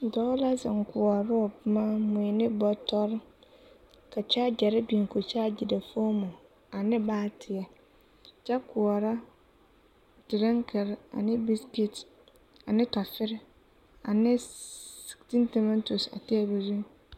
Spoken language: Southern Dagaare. Dɔɔ la zeŋ koɔrɔ o boma mui ne bɔtɔre ka kyaaɡɛre biŋ ka o kyaaɡere foomo ane baateɛ kyɛ koɔrɔ direkere ane biisiket ane tɔfere ane tiintomaatos a teebul zuiŋ .